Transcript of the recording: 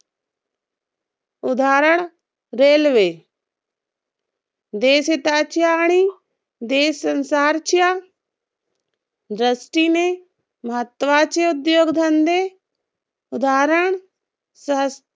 उदाहरण railway देशहिताचा आणि देश संसारच्या दृष्टीने महत्वाचे उद्योगधंदे उदाहरण